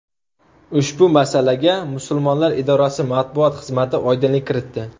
Ushbu masalaga Musulmonlar idorasi matbuot xizmati oydinlik kiritdi .